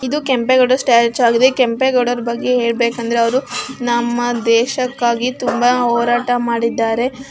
ಇದು ಕೆಂಪೇಗೌಡ ಸ್ಟಾಚು ಆಗಿದೆ ಕೆಂಪೇಗೌಡರು ಬಗ್ಗೆ ಹೇಳಬೇಕು ಅಂದರೆ ಅವರು ನಮ್ಮ ದೇಶಕ್ಕಾಗಿ ತುಂಬಾ ಹೋರಾಟ ಮಾಡಿದ್ದಾರೆ.